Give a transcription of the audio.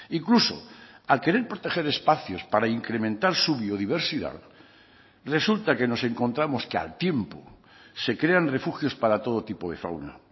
incluso al querer proteger espacios para incrementar su biodiversidad resulta que nos encontramos que al tiempo se crean refugios para todo tipo de fauna